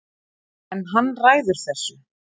En hann ræður þessu